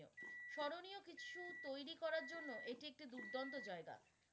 স্মরণীয় কিছু তৈরী করার জন্য এটি একটি দুর্দান্ত জায়গা।